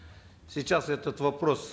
сейчас этот вопрос